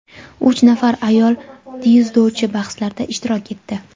uch nafar ayol dzyudochi bahslarda ishtirok etdi.